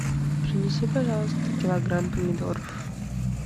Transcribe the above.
принеси пожалуйста килограмм помидоров